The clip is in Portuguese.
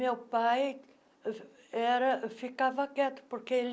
Meu pai uh era ficava quieto, porque ele...